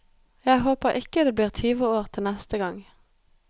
Jeg håper ikke det blir tyve år til neste gang.